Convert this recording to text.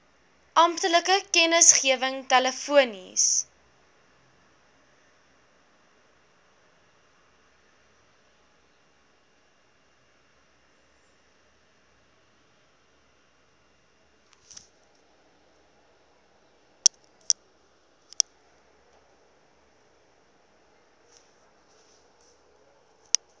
amptelike kennisgewing telefonies